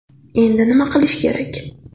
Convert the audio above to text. Endi nima qilish kerak?